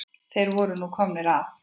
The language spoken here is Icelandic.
Þeir voru nú komnir að